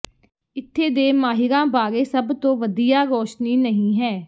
ਇੱਥੇ ਦੇ ਮਾਹਿਰਾਂ ਬਾਰੇ ਸਭ ਤੋਂ ਵਧੀਆ ਰੋਸ਼ਨੀ ਨਹੀਂ ਹੈ